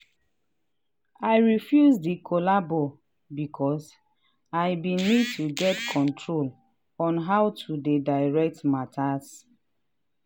i refuse the collabo becos i been need to get control on how to dey direct matters.